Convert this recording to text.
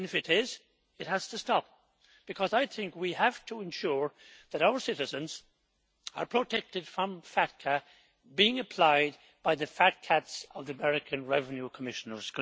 If it is, it has to stop, because I think we have to ensure that our citizens are protected from FATCA being applied by the fat cats of the American Revenue Commissioners.